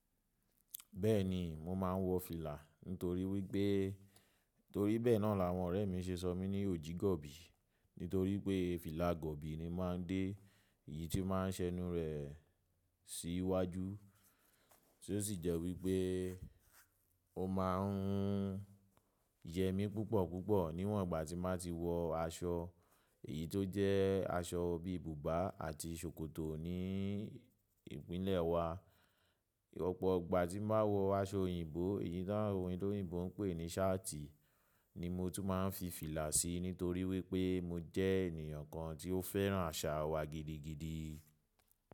Bẹ́ẹ̀ni, mo máa ń wọ fìlà nítorí wípé torí bẹ́ẹ̀ náà làwọn ọ̀rẹ́ mi ṣe sọ mí ní òjígọ̀bì nítorí pé fìlà gọ̀bì ni mo máa ń dé, èyí tí ó máa ń ṣẹnu rẹ̀ sí iwájú. Tó sì jẹ́ wípé ó máa ń yẹ mí púpọ̀ púpọ̀ níwọ̀n ìgbà tí màá ti wọ aṣọ èyí tó jẹ́ aṣọ bí i bùbá àti ṣòkòtò ní ìpínlẹ̀ wa. Ọ̀pọ̀ ìgbà tí màá wọ aṣọ òyìnbó èyí tí àwọn ènìyàn òyìnbó ń pè ní ṣáàtì ni mo tún máa ń fi fìlà sí nítorí wípé mo jẹ́ ènìyàn kan tí ó fẹ́ràn àṣà wa gidigidi.